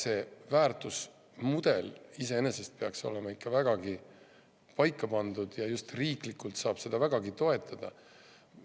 Aga väärtusmudel iseenesest peaks olema ikka paigas ja just riiklikult saab seda vägagi hästi toetada.